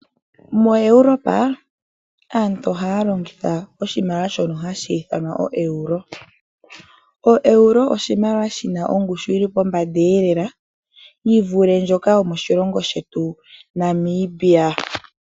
MoEuropa aantu ohaya longitha oshimaliwa shono hashi ithanwa oeuro. Oeuro oshimaliwa shi na ongushu elela yi vulithe ndjoka yetu yomoNamibia.